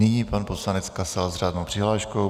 Nyní pan poslanec Kasal s řádnou přihláškou.